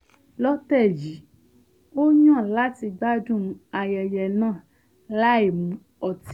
lọ́tẹ̀ yìí ó yàn láti gbádùn ayẹyẹ náà láìmu ọtí